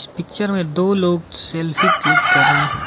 इस पिक्चर में दो लोग सेल्फी क्लिक कर रहे --